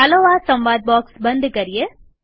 ચાલો આ સંવાદ બોક્સ બંધ કરીએ